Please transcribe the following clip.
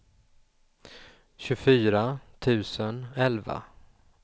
tjugofyra tusen elva